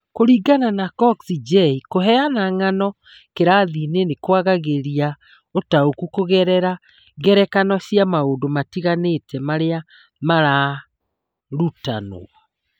Kũringana na Cox, J. kũheana ng'ano kĩrathi-inĩ nĩ kwagagĩria ũtaũku kũgerera ngerekano cia maũndũ matiganĩte marĩa mararutanwo.